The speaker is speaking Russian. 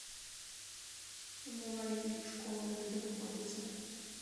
мовави школа где находится